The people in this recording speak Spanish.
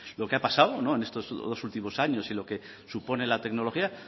lo que ha pasado en estos dos últimos años y lo que supone la tecnología